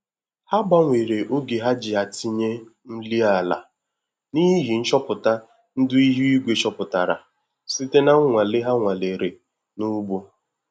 Ha gbanwere oge ha ji atinye nri ala na ịhị nchọpụta ndị ihu igwe chopụtara site na nwale ha nwalere na ugbo